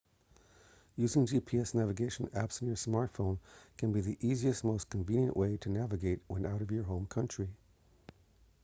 using gps navigation apps on your smartphone can be the easiest and most convenient way to navigate when out of your home country